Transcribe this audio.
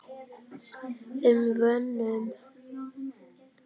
um vonum.